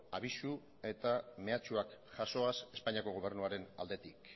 abisu eta mehatxuak jasoaz espainiako gobernuaren aldetik